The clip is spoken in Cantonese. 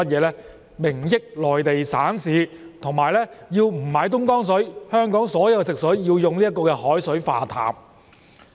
說是"明益"內地省市，而且主張不要買東江水，香港所有食水要用海水化淡。